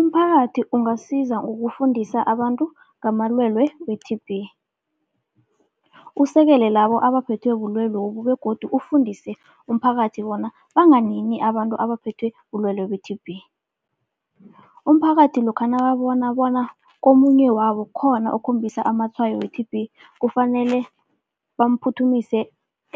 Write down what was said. Umphakathi ungasiza ngokufundisa abantu ngamalwelwe we-T_B. Usekele labo abaphethwe bulwelobu begodu ufundise umphakathi bona banganini abantu abaphethwe bulwelwe be-T_B. Umphakathi lokha nababona bona komunye wabo khona okhombisa amatshwayo we-T_B, kufanele bamphuthumise